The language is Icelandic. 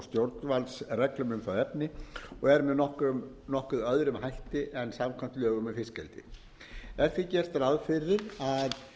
stjórnvaldsreglum um það efni og eru með nokkuð öðrum hætti en samkvæmt lögum um fiskeldi ber því gert ráð fyrir að